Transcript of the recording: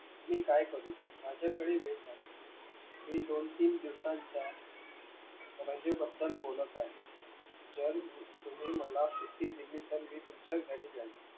मी काय करू माझ्याकडे वेळ नाही मी दोन तीन दिवसांच्या राजेबद्दल बोलत आहे जर तुम्ही मला सुट्टी दिली तर मी तुमच्या घरी जाईन